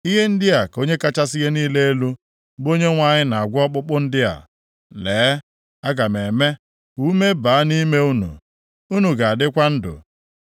Ihe ndị a ka Onye kachasị ihe niile elu, bụ Onyenwe anyị na-agwa ọkpụkpụ ndị a. Lee, aga m eme ka ume baa nʼime unu, unu ga-adịkwa ndụ.